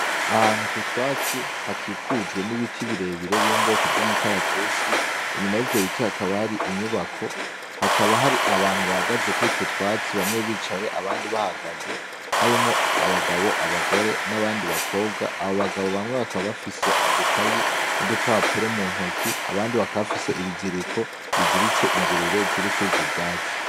Ah'ahantu k'utwatsi hakikujwe n'ibiti birebire vyo mubwoko vy'umukaratusi, inyuma y'ivyo biti hakaba hari inyubako, hakaba hari abantu bahagaze kurutwo twatsi, bamwe bicaye abandi bahagaze harimwo abagabo, abagore n'abandi bakobwa, abo bagabo bamwe bakaba bafise udukayi n'udupapuro muntoki abandi bakaba bafise ibiziriko biziritse ingurube zirikur'ivyo vyatsi.